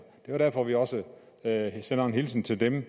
det er derfor vi også sender en hilsen til dem